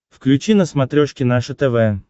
включи на смотрешке наше тв